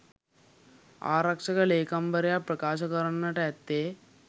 ආරක්ෂක ලේකම්වරයා ප්‍රකාශ කරන්නට ඇත්තේ